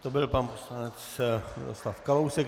To byl pan poslanec Miroslav Kalousek.